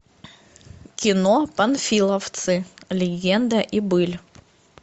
кино панфиловцы легенда и быль